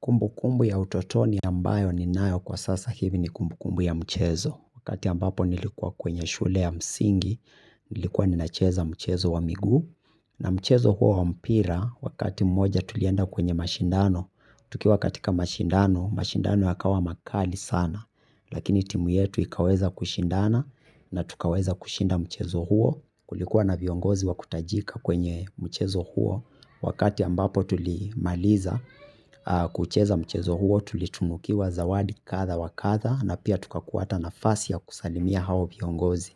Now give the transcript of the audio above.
Kumbu kumbu ya utotoni ambayo ni nayo kwa sasa hivi ni kumbu kumbu ya mchezo. Wakati ambapo nilikuwa kwenye shule ya msingi, nilikuwa ninacheza mchezo wa migu. Na mchezo huo wa mpira, wakati mmoja tulienda kwenye mashindano. Tukiwa katika mashindano, mashindano yakawa makali sana. Lakini timu yetu ikaweza kushindana na tukaweza kushinda mchezo huo. Kulikuwa na viongozi wa kutajika kwenye mchezo huo. Wakati ambapo tulimaliza kucheza mchezo huo tulitunukiwa zawadi katha wakatha na pia tuka kuata nafasi ya kusalimia hao viongozi.